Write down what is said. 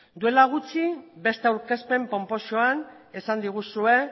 duela gutxi beste aurkezpen ponposoan esan diguzue